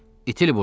İtil burdan!